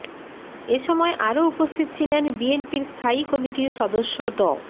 এ সময় আরো উপস্থিত ছিলেন বিএনপির স্থায়ী কমটির সদস্য ড